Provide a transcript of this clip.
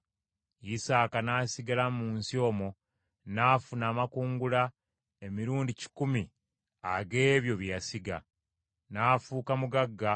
Isaaka n’asigala mu nsi omwo, n’afuna amakungula emirundi kikumi ag’ebyo bye yasiga, kubanga Mukama yamuwa omukisa.